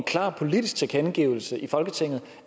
klar politisk tilkendegivelse i folketinget